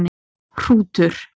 Hrútur